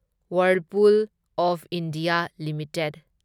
Whirlpool of India limited